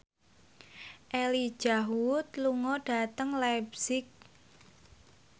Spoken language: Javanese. Elijah Wood lunga dhateng leipzig